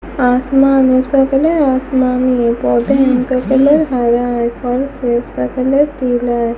आसमान उसका कलर आसमानी है पौधे हैं उनका कलर हरा है फर्श हैं उसका कलर पीला है।